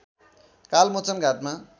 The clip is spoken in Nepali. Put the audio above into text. कालमोचन घाटमा